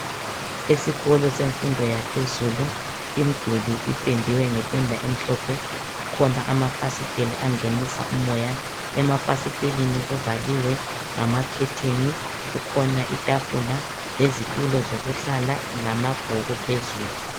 Esikolo semfundo yaphezulu imduli ipendiwe ngependa emhlophe, kukhona amafasitela angenise umoya, emafasiteleni kuvaliwe ngama khetheni, kukhona itafula lezitulo zokuhlala lamabhuku phezulu.